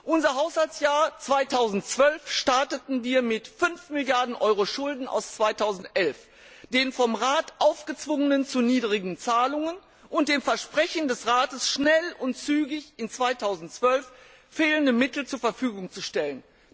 Unser Haushaltsjahr 2012 begannen wir mit 5 Milliarden Euro Schulden aus 2011, den vom Rat aufgezwungenen zu niedrigen Zahlungen und dem Versprechen des Rates, 2012 schnell und zügig fehlende Mittel zur Verfügung zu stellen.